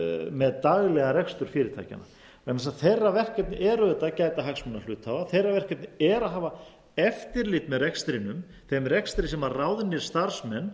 með daglegan rekstur fyrirtækjanna vegna þess að þeirra verkefni er auðvitað að gæta hagsmuna hluthafa þeirra verkefni er að hafa eftirlit með rekstrinum þeim rekstri sem ráðnir starfsmenn